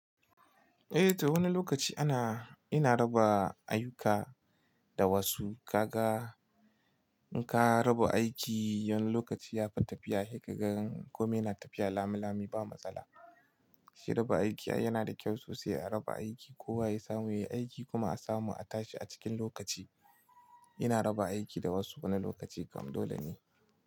Eh ta wani lokaci ana, ina raba ayuka da wasu. Ka ga in ka raba aiki wani lokaci ya fi tafiya, he ka gan kome yana tafiya lami lami ba matsala. Shi raba aiki ai yana da kyau sosai a raba aiki, kowa ya samu yayi aiki kuma a samu a tashi a cikin lokaci. Ina raba aiki da wasu wani lokaci kam dole ne.